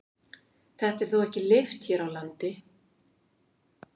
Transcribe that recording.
Þetta er þó ekki leyft hér á landi.